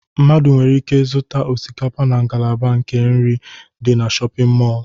Mmadụ nwere ike zụta osikapa na ngalaba nke nri dị na shọpịn mọlụ.